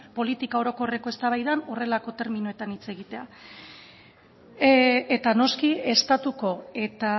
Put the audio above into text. politika orokorreko eztabaidan horrelako terminoetan hitz egitea eta noski estatuko eta